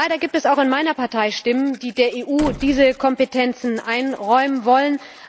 Leider gibt es auch in meiner Partei Stimmen, die der EU diese Kompetenzen einräumen wollen.